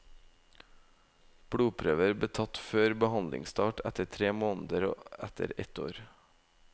Blodprøver ble tatt før behandlingsstart, etter tre måneder og etter ett år.